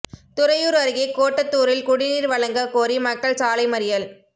துறையூர் அருகே கோட்டாத்தூரில் குடிநீர் வழங்க கோரி மக்கள் சாலை மறியல்